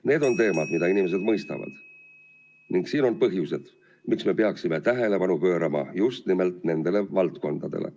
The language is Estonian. Need on teemad, mida inimesed mõistavad, ning see on põhjus, miks me peaksime tähelepanu pöörama just nimelt nendele valdkondadele.